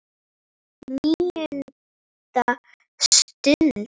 NÍUNDA STUND